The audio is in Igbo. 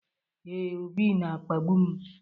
Ee, Obi na-akpagbu m.